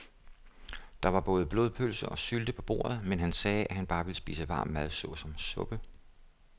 Der var både blodpølse og sylte på bordet, men han sagde, at han bare ville spise varm mad såsom suppe.